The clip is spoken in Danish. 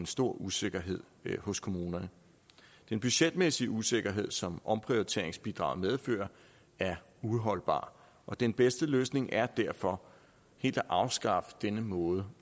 stor usikkerhed hos kommunerne den budgetmæssige usikkerhed som omprioriteringsbidraget medfører er uholdbar og den bedste løsning er derfor helt at afskaffe denne måde